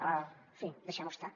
en fi deixem ho estar